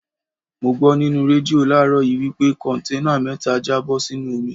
Mo gbó nínú rédíò láàrọ́ yìí wí pé Kọ̀ǹténà mẹ́ta já bó sínú omi.